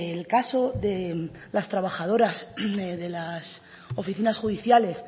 el caso de las trabajadoras de las oficinas judiciales